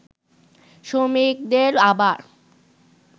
শ্রমিকদের আবার